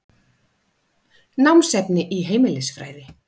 Námsefni í heimilisfræði.